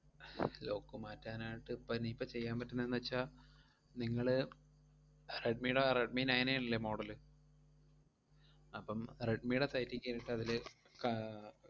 Lock മാറ്റാനായിട്ട് ഇപ്പം ഇനിയിപ്പം ചെയ്യാൻ പറ്റുന്നേന്നു വെച്ചാ നിങ്ങള് റെഡ്‌മിടെ, റെഡ്‌മി നയൻ എ അല്ലേ model ല് അപ്പം റെഡ്‌മിടെ site ഇ കേറീട്ട് അതില് ക~